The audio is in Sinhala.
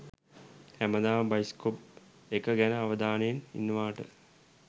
හැමදාම බයිස්කෝප් එක ගැන අවධානයෙන් ඉන්නවට.